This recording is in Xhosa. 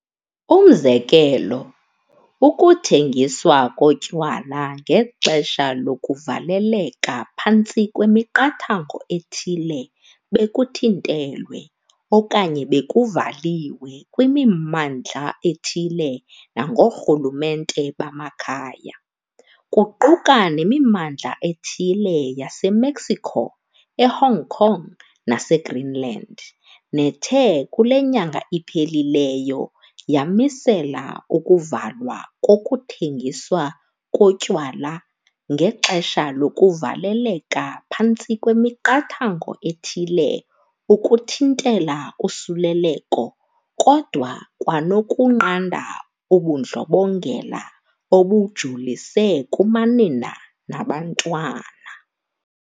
Umzekelo, ukuthengiswa kotywala ngexesha lokuvaleleka phantsi kwemiqathango ethile bekuthintelwe okanye bekuvaliwe kwimimmandla ethile nangoorhulumente bamakhaya, kuquka nemimmandla ethile yase-Mexico, e-Hong Kong nase-Greenland, nethe kule nyanga iphelileyo yamisela ukuvalwa kokuthengiswa kotywala ngexesha lokuvaleleka phantsi kwemiqathango ethile ukuthintela usuleleko kodwa 'kwanokunqanda ubundlobongela obujolise kumanina nabantwana.'